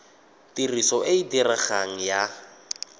tiriso e e diregang ya